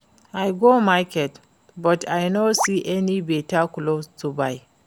I go market but I know see any beta cloth buy